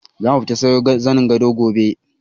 Zamu tafi siyo zanin gado gobe.